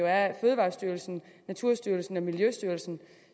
er fødevarestyrelsen naturstyrelsen og miljøstyrelsen